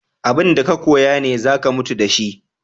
Abun da ka koya ne za ka mutu da shi.